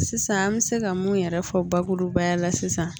Sisan an bɛ se ka mun yɛrɛ fɔ bakurubaya la sisan